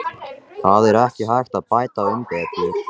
Það er ekki hægt að bæta um betur.